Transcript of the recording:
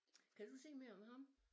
Kan du sige mere om ham?